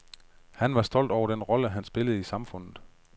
Han var stolt over den rolle han spillede i samfundet.